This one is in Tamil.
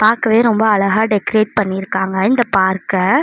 பாக்கவே ரொம்ப அழகா டெகரேட் பண்ணிருக்காங்க இந்த பார்க்க .